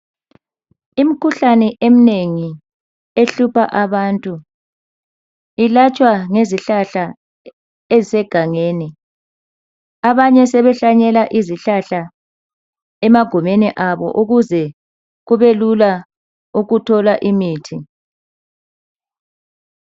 Imikhuhlane eminengi ehlupha abantu yelatshwa ngezihlahla ezitholakala egangelni, abanye sebehlanyela izihlahla emagimeni abo ukuze kubelula ukuthola imithi.